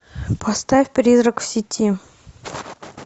поставь призрак в сети